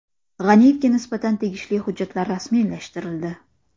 G‘aniyevga nisbatan tegishli hujjatlar rasmiylashtirildi.